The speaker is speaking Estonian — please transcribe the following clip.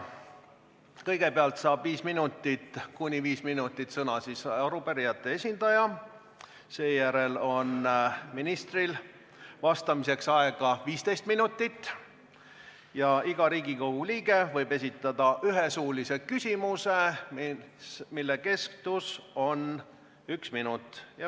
Kõigepealt saab kuni 5 minutit sõna arupärijate esindaja, seejärel on ministril vastamiseks aega 15 minutit ja iga Riigikogu liige võib esitada ühe suulise küsimuse, mille kestus on 1 minut.